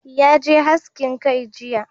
Ya je haskin kai jiya